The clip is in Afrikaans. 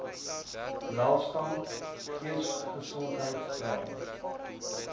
welstand geestesgesondheid draai